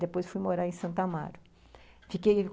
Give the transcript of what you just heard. Depois fui morar em Santo Amaro, fiquei